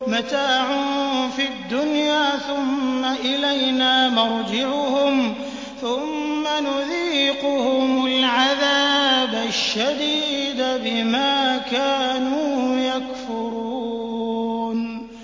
مَتَاعٌ فِي الدُّنْيَا ثُمَّ إِلَيْنَا مَرْجِعُهُمْ ثُمَّ نُذِيقُهُمُ الْعَذَابَ الشَّدِيدَ بِمَا كَانُوا يَكْفُرُونَ